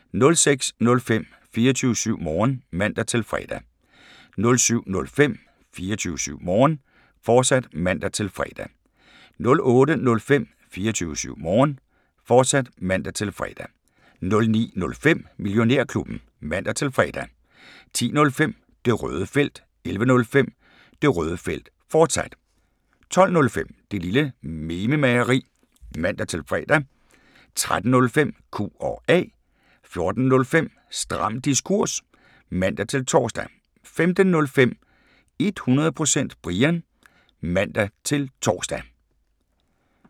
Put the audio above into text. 06:05: 24syv Morgen (man-fre) 07:05: 24syv Morgen, fortsat (man-fre) 08:05: 24syv Morgen, fortsat (man-fre) 09:05: Millionærklubben (man-fre) 10:05: Det Røde Felt 11:05: Det Røde Felt, fortsat 12:05: Det Lille Mememageri (man-fre) 13:05: Q&A 14:05: Stram Diskurs (man-tor) 15:05: 100% Brian (man-tor)